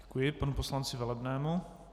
Děkuji panu poslanci Velebnému.